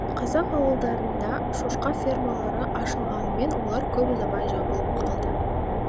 қазақ ауылдарында шошқа фермалары ашылғанымен олар көп ұзамай жабылып қалды